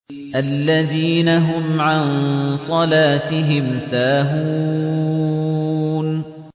الَّذِينَ هُمْ عَن صَلَاتِهِمْ سَاهُونَ